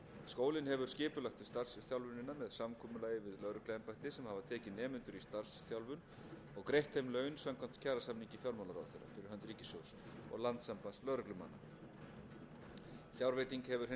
skólinn hefur skipulagt starfsþjálfunina með samkomulagi við lögregluembætti sem hafa tekið nemendur í starfsþjálfun og greitt þeim laun samkvæmt kjarasamningi fjármálaráðherra fh ríkissjóðs og landssambands lögreglumanna fjárveiting hefur hins vegar aldrei